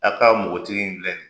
A ka npogotigi in filɛ nin ye